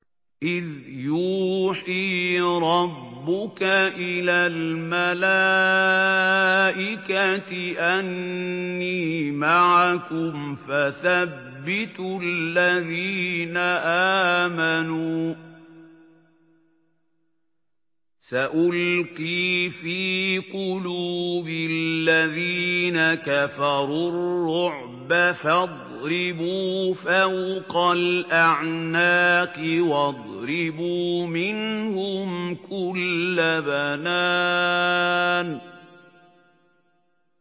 إِذْ يُوحِي رَبُّكَ إِلَى الْمَلَائِكَةِ أَنِّي مَعَكُمْ فَثَبِّتُوا الَّذِينَ آمَنُوا ۚ سَأُلْقِي فِي قُلُوبِ الَّذِينَ كَفَرُوا الرُّعْبَ فَاضْرِبُوا فَوْقَ الْأَعْنَاقِ وَاضْرِبُوا مِنْهُمْ كُلَّ بَنَانٍ